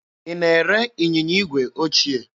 Ị na-ere ịnyịnya igwe ochie?